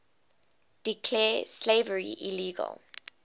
declared slavery illegal